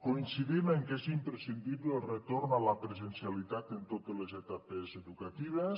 coincidim en que és imprescindible el retorn a la presencialitat en totes les etapes educatives